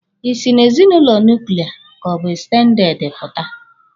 Ị sị na ezinụlọ nuklia ka ọ bụ ekstendede pụta!